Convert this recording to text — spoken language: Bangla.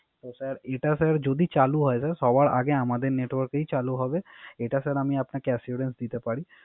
স্যার এটা যদি চালু হয় স্যার। সবার আগে আমাদের Network এই চালূ দিবে। এটা স্যার আমি আপনাকে দিতে Assurance পারি